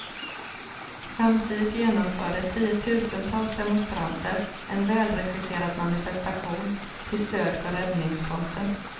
Samtidigt genomförde tiotusentals demonstranter en välregisserad manifestation till stöd för räddningsfronten.